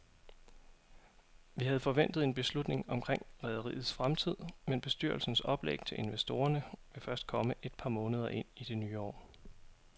Vi havde forventet en beslutning omkring rederiets fremtid, men bestyrelsens oplæg til investorerne vil først komme et par måneder ind i det nye år.